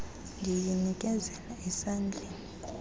ndiyi nikezela esandleni